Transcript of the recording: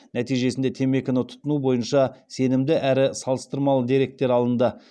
нәтижесінде темекіні тұтыну бойынша сенімді әрі салыстырмалы деректер алынды